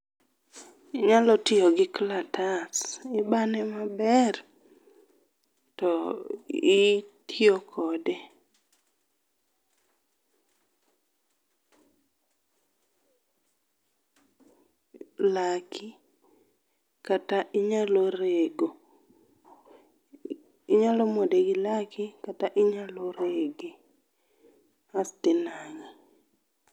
inyalo tiyo gi kalatas ibane mabeeer to itiyo kode laki kata inyalo rego, inyalo muode gi laki kata inyalo rege asti nang'e